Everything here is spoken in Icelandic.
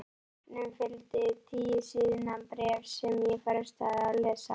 Matnum fylgdi tíu síðna bréf sem ég frestaði að lesa.